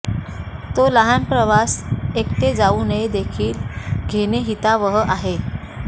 तो लहान प्रवास एकटे जाऊ नये देखील घेणे हितावह आहे